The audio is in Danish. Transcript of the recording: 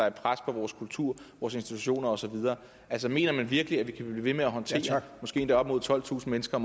et pres på vores kultur vores institutioner og så videre mener man virkelig at vi kan blive ved med at håndtere måske endda op mod tolvtusind mennesker